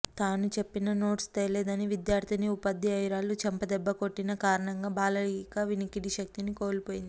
తాను చెప్పిన నోట్సు తేలేదని విద్యార్థినిని ఉపాధ్యాయురాలు చెంపదెబ్బ కొట్టిన కారణంగా బాలలిక వినికిడి శక్తిని కోల్పోయింది